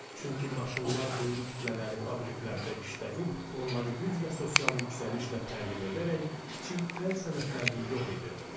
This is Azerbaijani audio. Çünki maşınlar böyük kütlələri fabriklərdə işlədib, onları güc və sosial yüksəlişlə təmin edərək kiçik əl sənətlərini yox edirdi.